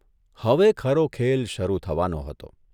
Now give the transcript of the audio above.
હવે ખરો ખેલ શરૂ થવાનો હતો.